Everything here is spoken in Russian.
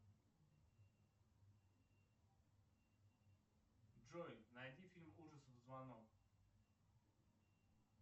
джой найди фильм ужасов звонок